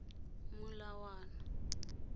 molawana